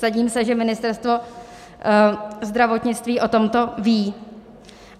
Vsadím se, že Ministerstvo zdravotnictví o tomto ví.